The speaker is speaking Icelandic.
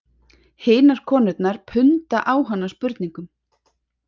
Hinar konurnar punda á hana spurningum